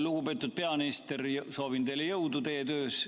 Lugupeetud peaminister, soovin teile jõudu teie töös!